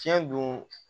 Fiɲɛ don